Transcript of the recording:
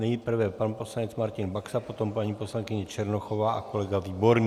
Nejprve pan poslanec Martin Baxa, potom paní poslankyně Černochová a kolega Výborný.